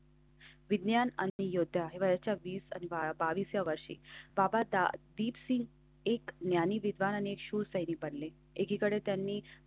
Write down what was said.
विज्ञान आणि योग्य वेळेच्या दोन हजार बावीस व्या वर्षी बाबा डीप सिंह एक ज्ञानी विद्वानाने शो सैनी पडले एकीकडे त्यांनी.